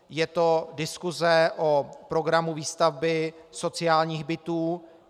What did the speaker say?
Je to diskuse o programu výstavby sociálních bytů.